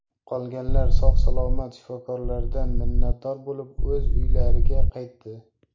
Qolganlari sog‘ salomat shifokorlardan minnatdor bo‘lib o‘z uylariga qaytdi.